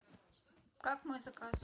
как мой заказ